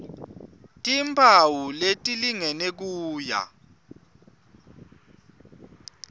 timphawu letilingene kuya